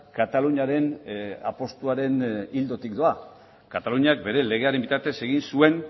kataluniaren apustuaren ildotik doa kataluniak bere legearen bitartez egin zuen